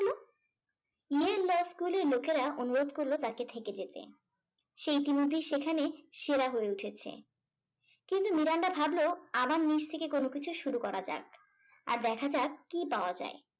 স্কুলের লোকেরা অনুরোধ করলো তাকে থেকে যেতে। সে ইতিমধ্যেই সেখানে সেরা হয়ে উঠেছে কিন্তু মিরান্ডা ভাবল আবার নিচ থেকে কোন কিছু শুরু করা যাক আর দেখা যাক কি পাওয়া যায়